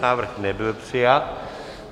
Návrh nebyl přijat.